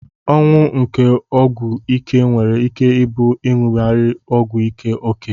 Ọnwụ nke ọgwụ ike nwere ike ibu inyugaghe ọgwụ ike oke.